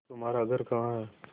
तुम्हारा घर कहाँ है